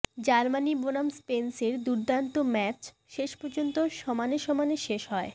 Germany বনাম স্পেনের দুর্দান্ত ম্যাচ শেষপর্যন্ত সমানে সমানে শেষ হয়